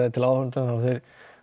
til áhorfenda og þeir